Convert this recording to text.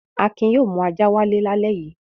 Akin yóò mú ajá wálé lálẹ́ yìí.